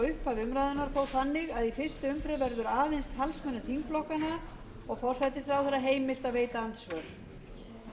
upphafi umræðunnar en þó þannig að í fyrstu umferð verður aðeins talsmönnum þingflokkanna og forsætisráðherra heimilt að veita andsvör